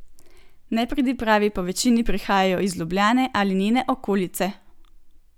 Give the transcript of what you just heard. Nepridipravi povečini prihajajo iz Ljubljane ali njene okolice.